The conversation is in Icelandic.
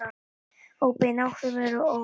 Óbein áhrif ars eru óviss.